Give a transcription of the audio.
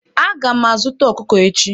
Aga m azuta ọkụkọ echi.